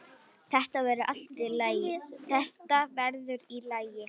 Þetta verður í lagi.